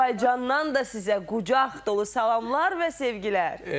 Azərbaycandan da sizə qucaq dolu salamlar və sevgilər.